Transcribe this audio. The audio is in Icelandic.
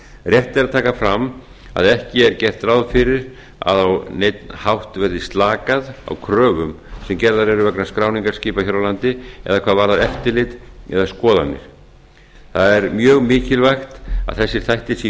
rétt er að taka fram að ekki er gert ráð fyrir að á neinn hátt verði slakað á kröfum sem gerðar eru vegna skráningar skipa hér á landi eða hvað varðar eftirlit eða skoðanir það er mjög mikilvægt að þessir þættir séu í